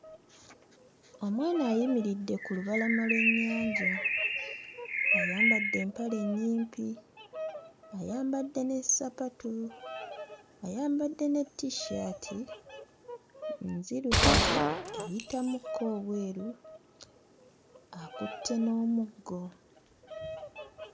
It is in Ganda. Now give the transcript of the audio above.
Omwana ayimiridde ku lubalama lw'ennyanja ayambadde empale ennyimpi, ayambadde ne ssapatu, ayambadde ne T-shirt nzirugavu, eyitamukko obweru akutte n'omuggo.